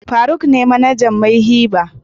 faruk ne manajan "Mayhi bar".